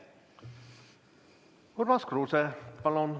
Urmas Kruuse, palun!